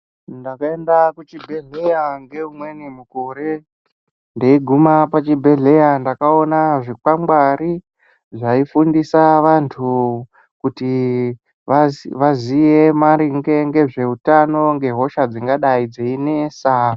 Ndakaenda kuchibhehleya ngeumweni mukore ndeiguma pachibhehleya ndakaoona zvikwangwari zvaifundisa vanhu kuti vaziye maringe ngezveutano ngehosha dzingadai dzeinesa.